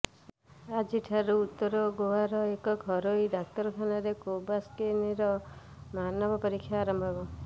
ଆଜିଠାରୁ ଉତ୍ତର ଗୋଆର ଏକ ଘରୋଇ ଡାକ୍ତରଖାନାରେ କୋଭାକ୍ସିନଙ୍କ ମାନବ ପରୀକ୍ଷା ଆରମ୍ଭ ହେବ